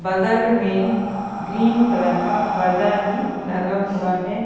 बगल में green colour का पर्दा भी लगा हुआ है।